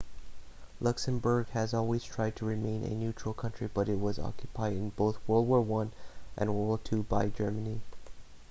luxembourg has always tried to remain a neutral country but it was occupied in both world war i and world war ii by germany